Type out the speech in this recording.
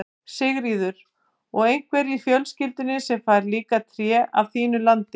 Sigríður: Og einhver í fjölskyldunni sem fær líka tré af þínu landi?